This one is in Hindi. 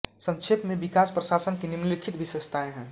संक्षेप मे विकास प्रशासन की निम्नलिखित विशेषताएँ हैं